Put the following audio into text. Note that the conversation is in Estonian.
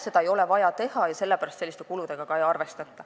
Seda ei ole vaja teha ja sellepärast selliste kuludega ka ei arvestata.